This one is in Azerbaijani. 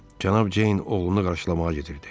Cənab Ceyn oğlunu qarşılamağa gedirdi.